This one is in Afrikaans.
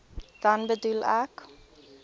dan bedoel ek